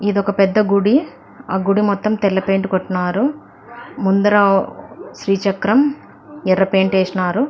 ఇది ఒక పెద్ద గుడి. ఆ గుడి మొత్తం తెల్ల పేయింట్ కొట్టినారు. ముందర శ్రీ చక్రం ఎర్ర పేయింట్ వేసినారు.